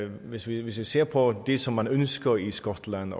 hvis vi vi ser på det som man ønsker i skotland